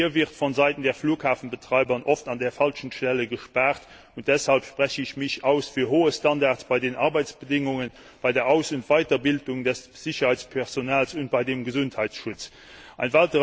Hier wird von Seiten der Flughafenbetreiber oft an der falschen Stelle gespart, und deshalb spreche ich mich für hohe Standards bei den Arbeitsbedingungen, bei der Aus und Weiterbildung des Sicherheitspersonals und beim Gesundheitsschutz aus.